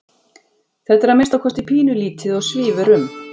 Þetta er að minnsta kosti pínulítið og svífur um.